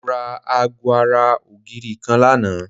Mo ra aago ara ògiri kan lánàá